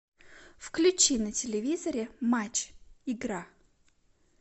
включи на телевизоре матч игра